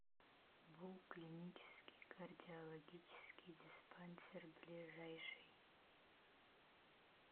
бу клинический кардиологический диспансер ближайший